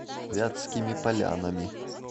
вятскими полянами